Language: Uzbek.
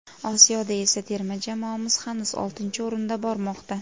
Osiyoda esa terma jamoamiz hanuz oltinchi o‘rinda bormoqda.